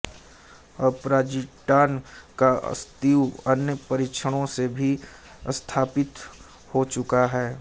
अब पॉज़िट्रॉन का अस्तित्व अन्य परीक्षणों से भी स्थापित हो चुका है